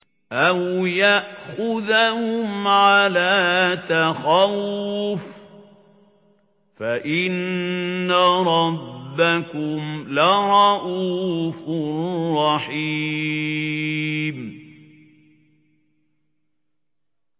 أَوْ يَأْخُذَهُمْ عَلَىٰ تَخَوُّفٍ فَإِنَّ رَبَّكُمْ لَرَءُوفٌ رَّحِيمٌ